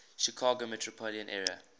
chicago metropolitan area